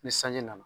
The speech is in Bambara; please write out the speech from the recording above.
Ni sanji nana